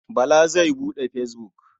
Bala zai buɗe fesbuk.